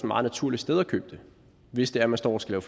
meget naturligt sted at købe det hvis det er at man står og skal